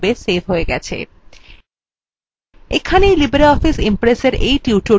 এখানে libreoffice impressএর এই tutorialthe সমাপ্ত হল